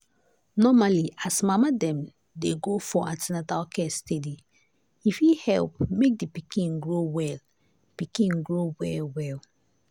normally as mama dem dey go for an ten atal care steady e fit help make the pikin grow well pikin grow well well.